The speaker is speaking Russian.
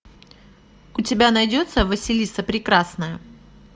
у тебя найдется василиса прекрасная